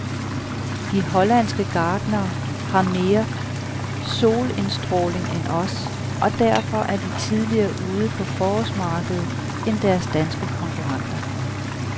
De hollandske gartnere har mere solindstråling end os, og derfor er de tidligere ude på forårsmarkedet end deres danske konkurrenter.